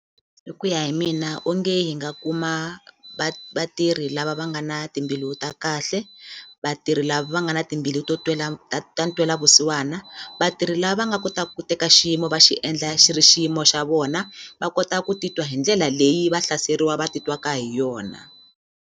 Hi ku ya hi mina onge hi nga kuma vatirhi lava va nga na timbilu ta kahle vatirhi lava nga na timbilu to twela ta ta ntwelavusiwana vatirhi lava nga kota ku teka xiyimo va xiendla xi ri xiyimo xa vona va kota ku titwa hi ndlela leyi va hlaseriwa va titwaka hi yona.